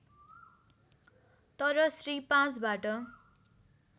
तर श्री ५ बाट